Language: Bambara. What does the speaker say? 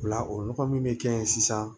O la o nɔgɔ min bɛ kɛ yen sisan